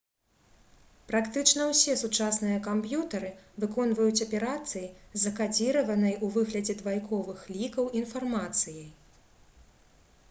практычна ўсе сучасныя камп'ютары выконваюць аперацыі з закадзіраванай у выглядзе двайковых лікаў інфармацыяй